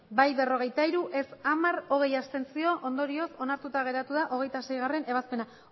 bai berrogeita hiru ez hamar abstentzioak hogei ondorioz onartuta geratu da hogeita seigarrena ebazpena